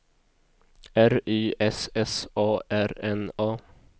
R Y S S A R N A